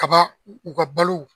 Kaba u ka balo.